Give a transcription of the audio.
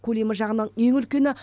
көлемі жағынан ең үлкені